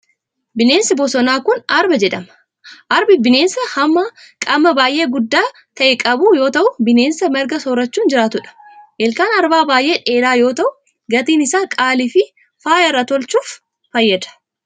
Bineensonni bosonaa kun, arba jedhamu. Arbi bineensa hamma qaamaa baay'ee guddaa ta'e qabu yoo ta'u, bineensa marga soorachuun jiraatu dha. Ilkaan arbaa baay'ee dheeraa yoo ta'u, gatiin isaa qaalii fi faaya irraa tolchuuf fayyada.